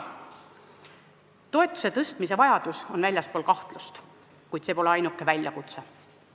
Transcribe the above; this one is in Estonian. Toetuse tõstmise vajadus on väljaspool kahtlust, kuid see pole ainuke väljakutse.